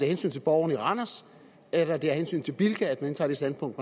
hensyn til borgerne i randers eller det er af hensyn til bilka at man indtager det standpunkt